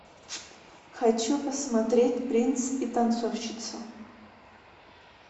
хочу посмотреть принц и танцовщица